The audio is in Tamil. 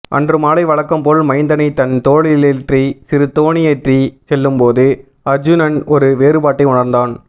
அன்றுமாலை வழக்கம் போல் மைந்தனை தன் தோளிலேற்றி சிறுதோணியேறிச்செல்லும்போது அர்ஜுனன் ஒரு வேறுபாட்டை உணர்ந்தான்